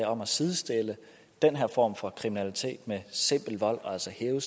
om at sidestille den her form for kriminalitet med simpel vold og altså hæve